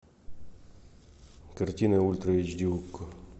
картина ультра эйч ди окко